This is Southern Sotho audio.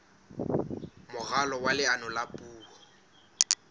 moralo wa leano la puo